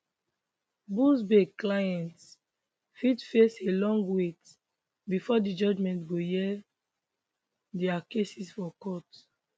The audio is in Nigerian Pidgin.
buzbee clients fit face a long wait bifor di judge go hear dia cases for court